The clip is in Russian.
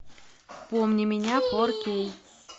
помни меня фор кей